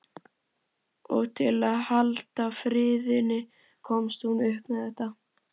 Og til að halda friðinn komst hún upp með þetta.